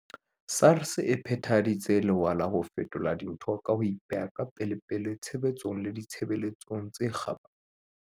SARS e phethaditse lewa la ho fetola dintho ka ho ipeha ka pelepele tshebetsong le ditshebeletsong tse kgabane.